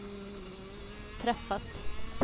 träffat